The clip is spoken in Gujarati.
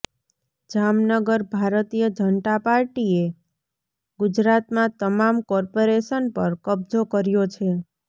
જામનગરઃ ભારતીય જનતા પાર્ટીએ ગુજરાતમાં તમામ કોર્પોરેશન પર કબજો કર્યો છે